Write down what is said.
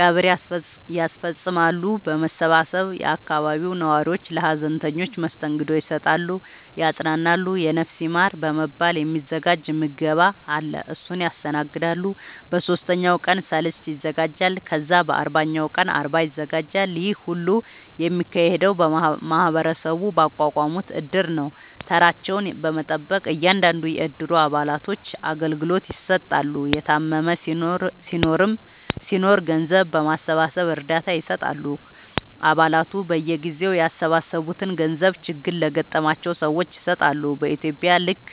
ቀብር ያስፈፅማሉ በመሰባሰብ የአካባቢው ነዋሪዎች ለሀዘንተኞች መስተንግዶ ይሰጣሉ ያፅናናሉ የነፍስ ይማር በመባል የ ሚዘጋጅ ምገባ አለ እሱን ያስተናግዳሉ በ ሶስተኛው ቀን ሰልስት ይዘጋጃል ከዛ በ አርባኛው ቀን አርባ ይዘጋጃል ይሄ ሁሉ የሚካሄደው ማህበረሰቡ ባቋቋሙት እድር ነው ተራቸውን በመጠበቅ እያንዳንዱን የ እድሩ አባላቶች አገልግሎት ይሰጣሉ የታመመም ሲናኖር ገንዘብ በማሰባሰብ እርዳታ ይሰጣሉ አ ባላቱ በየጊዜው ያሰባሰቡትን ገንዘብ ችግር ለገጠማቸው ሰዎች ይሰጣሉ በ ኢትዩጵያ ልክ